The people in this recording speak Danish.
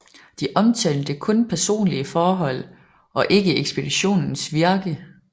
De omtalte kun personlige forhold og ikke ekspeditionens virke